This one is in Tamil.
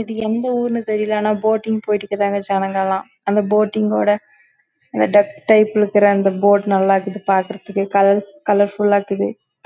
இது எந்த ஊர் நீ தெரில ஜனங்க போட்டிங் லாம் போட்டுக்கங்க அந்த போட் நல்ல இருக்குது